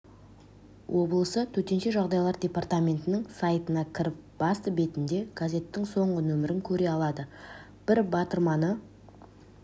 облысы төтенше жағдайлар департаментінің сайтына кіріп басты бетінде газеттің соңғы нөмірін көре алады бір батырманы